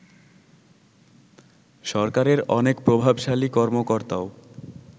সরকারের অনেক প্রভাবশালী কর্মকর্তাও